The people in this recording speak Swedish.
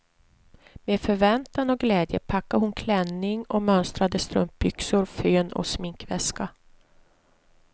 Med förväntan och glädje packade hon klänning och mönstrade strumpbyxor, fön och sminkväska.